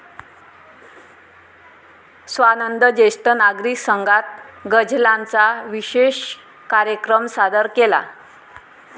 स्वानंद जेष्ठ नागरिक संघात गझलांचा विशेषकार्यक्रम सादर केला.